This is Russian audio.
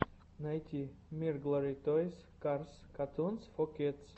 найти мирглори тойс карс катунс фо кидс